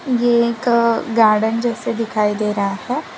ये एक गार्डन जैसे दिखाई दे रहा है।